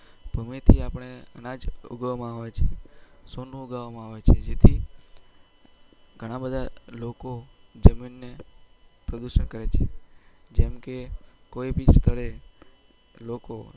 ભૂમિ થી અપને એના જ ગણા બધા લોકો જીમીનાને પ્રદુસન કરે છે જેમ કે